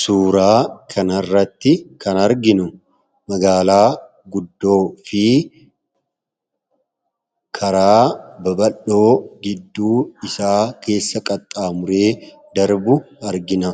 suuraa kanarratti kan arginu magaalaa guddoo fi karaa babaldhoo gidduu isaa keessa qaxxaamuree darbu argina.